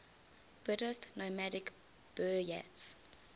buddhist nomadic buryats